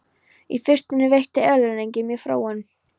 Í fyrstunni veitti eyðileggingin mér fróun.